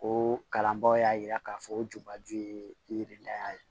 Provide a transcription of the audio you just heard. O kalanbaaw y'a yira k'a fɔ o jubaju ye yirida ye